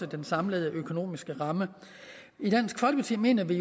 den samlede økonomiske ramme i dansk folkeparti mener vi